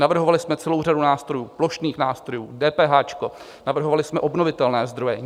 Navrhovali jsme celou řadu nástrojů, plošných nástrojů, DPH, navrhovali jsme obnovitelné zdroje.